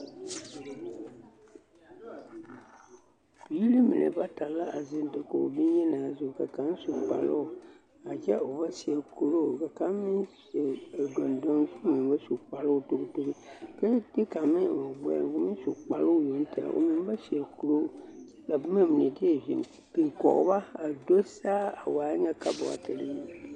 Biiri mine bata la a zeŋ dakogi bonyenaa zu ka kaŋ su kparoo a kyɛ o ba seɛ kuroo ka kaŋ seɛ gondoŋ k'o meŋ ba su kparoo togitogi, k'o meŋ de kaŋ eŋ o gbɛɛŋ k'o meŋ su kparoo yoŋ tɛge o meŋ ba seɛ kuroo kyɛ ka boma mine deɛ biŋ kɔge ba a do saa a waa nyɛ kabɔtere nyɛ.